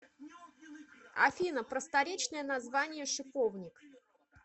афина просторечное название шиповник